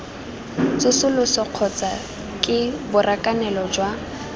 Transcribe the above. tsosoloso kgotsa ke borakanelo jwa